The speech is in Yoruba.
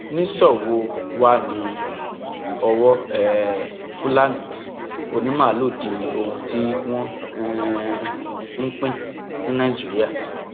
nìṣó wò wáá ní ọwọ um fúlàní onímaalùú di ohun tí wọn um ń pín ní nàìjíríà